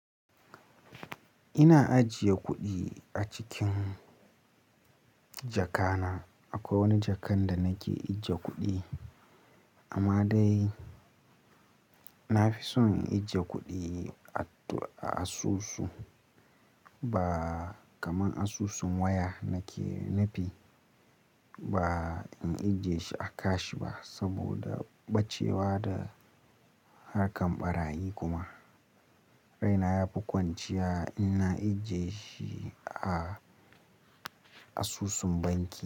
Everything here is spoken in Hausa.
Ina ajiye kuɗi a cikin jaka na. Akwai wani jakan da nake ajiye kuɗi amma dai na fi son in ajiye kuɗi a asusu ba kamar asusun waya nake, nu fi. Ba in ajiye shi a cash ba saboda bacewa da harkan ɓarayi kuma. Raina yafi kwanciya in na ajiye shi a asusun banki.